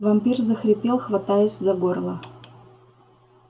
вампир захрипел хватаясь за горло